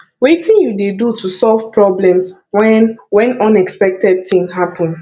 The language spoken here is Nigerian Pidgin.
wetin you dey do to solve problems when when unexpected thing happen